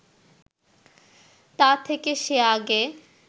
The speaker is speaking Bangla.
তা থেকে সে আগে